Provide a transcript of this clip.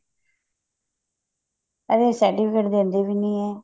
certificate ਦਿੰਦੇ ਵੀ ਨੀ ਇਹ